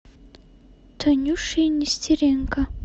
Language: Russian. танюшей нестеренко